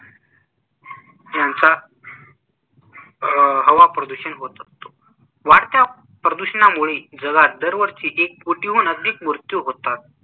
यांचा अह हवा प्रदूषण होत असतो वाढ़त्या प्रदूषणामुळे जगात दरवर्षी एक कोटीहून अधिक मृत्यू होतात.